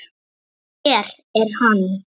Hér er hann.